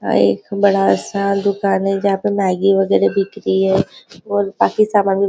एक बड़ा सा दुकान है जहाँ पे मेगी वगेरा बिक रही है और बाकी सामान भी --